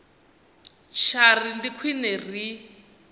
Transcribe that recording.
tsha ri ndi khwine ri